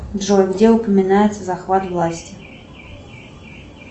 джой где упоминается захват власти